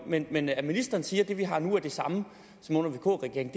men men at ministeren siger at det vi har nu er det samme som under vk regeringen